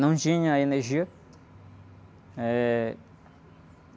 Não tinha energia. Eh...